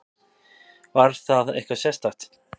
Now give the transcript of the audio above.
Var það eitthvað sérstakt?